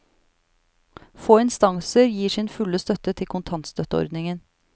Få instanser gir sin fulle støtte til kontantstøtteordningen.